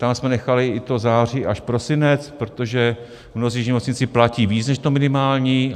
Tam jsme nechali i to září až prosinec, protože mnozí živnostníci platí víc než to minimální.